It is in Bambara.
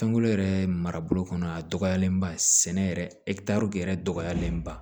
Sankolo yɛrɛ marabolo kɔnɔ a dɔgɔyalen ba sɛnɛ yɛrɛ yɛrɛ dɔgɔyalenba